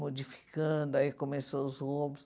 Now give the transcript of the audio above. Modificando, aí começou os roubos.